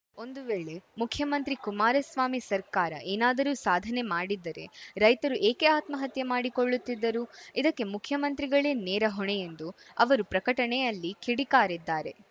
ಒಂದು ವೇಳೆ ಮುಖ್ಯಮಂತ್ರಿ ಕುಮಾರಸ್ವಾಮಿ ಸರ್ಕಾರ ಏನಾದರೂ ಸಾಧನೆ ಮಾಡಿದ್ದರೆ ರೈತರು ಏಕೆ ಆತ್ಮಹತ್ಯೆ ಮಾಡಿಕೊಳ್ಳುತ್ತಿದ್ದರು ಇದಕ್ಕೆ ಮುಖ್ಯಮಂತ್ರಿಗಳೇ ನೇರ ಹೊಣೆ ಎಂದು ಅವರು ಪ್ರಕಟಣೆಯಲ್ಲಿ ಕಿಡಿಕಾರಿದ್ದಾರೆ